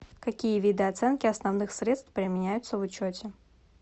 какие виды оценки основных средств применяются в учете